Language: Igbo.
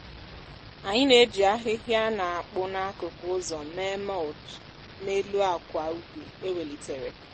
anyị na-eji ahịhịa a na-akpụ n'akụkụ ụzọ mee mulch n'elu akwa ubi e welitere.